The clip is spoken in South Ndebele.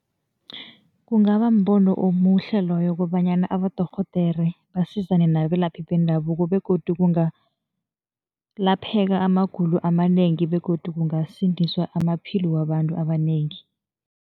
Kungaba mbono omuhle loyo kobanyana abadorhodere basizane nabelaphi bendabuko begodu kungalapheka amagulo amanengi begodu kungasindiswa amaphilo wabantu abanengi.